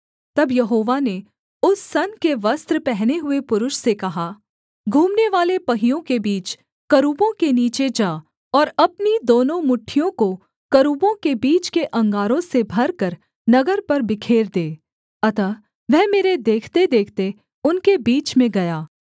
तब यहोवा ने उस सन के वस्त्र पहने हुए पुरुष से कहा घूमनेवाले पहियों के बीच करूबों के नीचे जा और अपनी दोनों मुट्ठियों को करूबों के बीच के अंगारों से भरकर नगर पर बिखेर दे अतः वह मेरे देखतेदेखते उनके बीच में गया